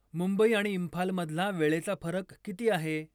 मुंबई आणि इम्फाल मधला वेळेचा फरक किती आहे ?